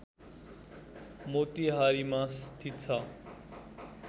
मोतिहारीमा स्थित छ